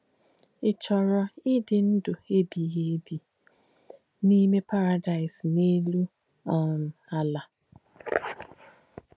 Ị̀ chọ̀rọ̀ ìdí ndú èbìghì èbì n’íme Pàràdàị́s n’élù um ālà?